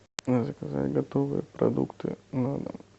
заказать готовые продукты на дом